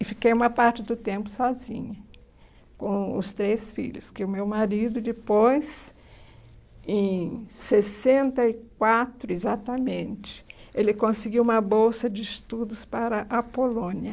E fiquei uma parte do tempo sozinha, com os três filhos, que o meu marido, depois, em sessenta e quatro, exatamente, ele conseguiu uma bolsa de estudos para a Polônia.